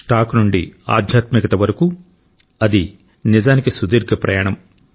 stock నుండి ఆధ్యాత్మికత వరకు అది నిజానికి సుదీర్ఘ ప్రయాణం